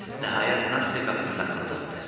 Nəhayət, Nastya qapını taqqıldatdı.